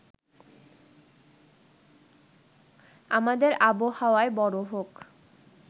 আমাদের আবহাওয়ায় বড় হোক